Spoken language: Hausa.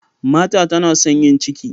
Martha tana son yin ciki.